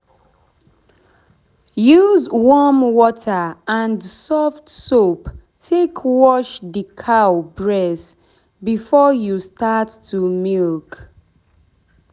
use warm warm water and soft soap take wash the cow breast before you start to milk.